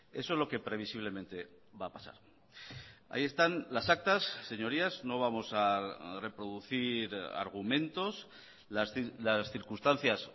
eso es lo que previsiblemente va a pasar ahí están las actas señorías no vamos a reproducir argumentos las circunstancias